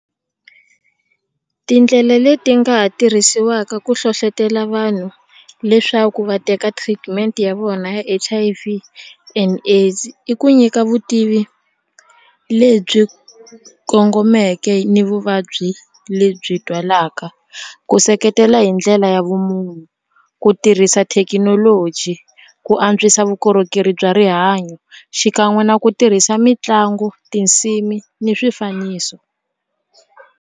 Tindlela leti nga ha tirhisiwaka ku hlohlotelo vanhu leswaku va teka treatment ya vona ya H_I_V and AIDS i ku nyika vutivi lebyi kongomeke ni vuvabyi lebyi twalaka ku seketela hi ndlela ya vumunhu ku tirhisa thekinoloji ku antswisa vukorhokeri bya rihanyo xikan'we na ku tirhisa mitlangu tinsimu ni swifaniso.